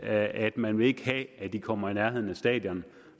at man ikke vil have at de kommer i nærheden af stadion